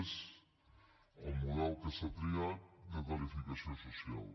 és el model que s’ha triat de tarifació social